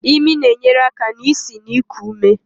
Imi na-enyere aka n'isi na iku ume.